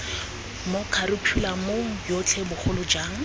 mo kharikhulamong yotlhe bogolo jang